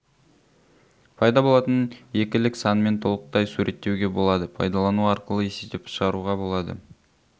пайда болатын екілік санмен толықтай суреттеуге болады пайдалану арқылы есептеп шығаруға болады